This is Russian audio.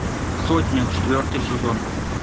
сотня четвертый сезон